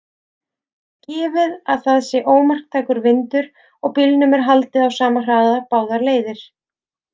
Gefið að það sé ómarktækur vindur og bílnum er haldið á sama hraða báðar leiðir.